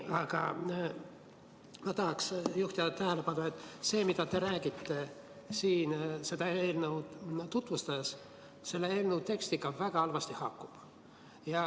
Aga ma tahaksin juhtida tähelepanu sellele, et see, mida te räägite siin seda eelnõu tutvustades, haakub eelnõu tekstiga väga halvasti.